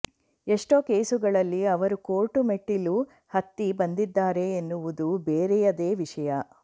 ಎಷ್ಟೋ ಕೇಸುಗಳಲ್ಲಿ ಅವರು ಕೋರ್ಟು ಮೆಟ್ಟಿಲು ಹತ್ತಿ ಬಂದಿದ್ದಾರೆ ಎನ್ನುವುದು ಬೇರೆಯದೇ ವಿಷಯ